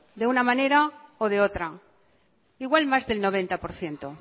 de una manera o de otra igual más del noventa por ciento